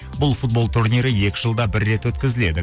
бұл футбол турнирі екі жылда бір рет өткізіледі